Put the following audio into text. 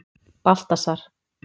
Baltasar